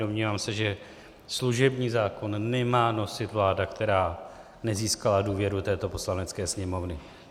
Domnívám se, že služební zákon nemá nosit vláda, která nezískala důvěru této Poslanecké sněmovny.